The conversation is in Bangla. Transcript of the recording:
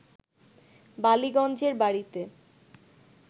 বালিগঞ্জের বাড়িতে